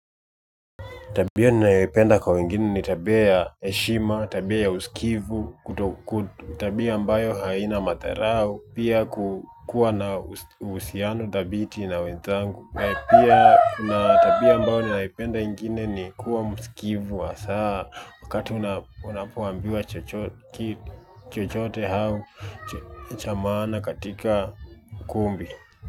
Tabia ninayoipenda kwa wengine ni tabia ya heshima, tabia ya usikivu, tabia ambayo haina matharau, pia kukuwa na uhusiano thabiti na wenzangu, pia tabia ambayo ninaipenda ingine ni kuwa msikivu wa saa wakati unapoambiwa chochote au cha maana katika kumbi.